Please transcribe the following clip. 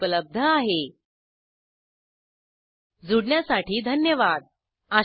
spoken hyphen tutorial dot o r g slash NMEICT hyphen intro जूडण्यासाठी धन्यवाद